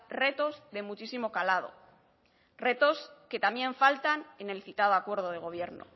retos de muchísimo calado retos que también faltan en el citado acuerdo de gobierno